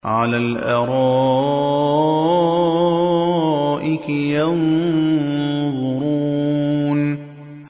عَلَى الْأَرَائِكِ يَنظُرُونَ